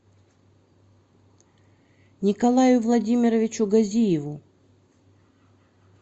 николаю владимировичу газиеву